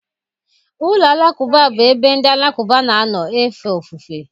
Ụlọ alakụba bụ ebe ndị Alakụba na-anọ efe ofufe